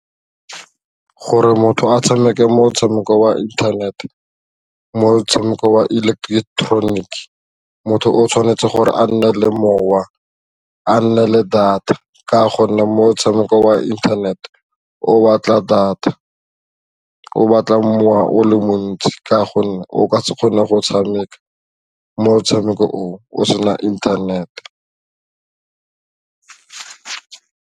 Gore motho a tshameke motshameko wa internet-e motshameko wa electronic motho o tshwanetse gore a nne le mowa a nne le data ka gonne motshameko wa internet o batla data, o batla mowa o le montsi ka gonne o ka se kgone go tshameka motshameko o o sena internet.